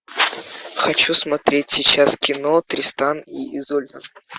хочу смотреть сейчас кино тристан и изольда